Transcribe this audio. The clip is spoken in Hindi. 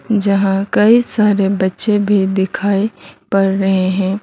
जहां कई सारे बच्चे भी दिखाई पड़ रहे हैं।